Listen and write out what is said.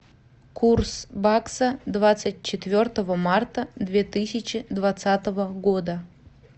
курс бакса двадцать четвертого марта две тысячи двадцатого года